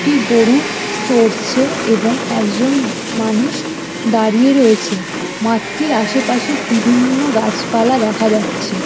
একটি গোরু চরছে এবং একজন মানুষ দাঁড়িয়ে রয়েছে। মাঠটির আশেপাশে বিভিন্ন গাছপালা দেখা যাচ্ছে।